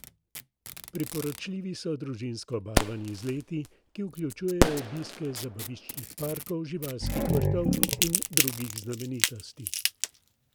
Priporočljivi so družinsko obarvani izleti, ki vključujejo obiske zabaviščnih parkov, živalskih vrtov in drugih znamenitosti.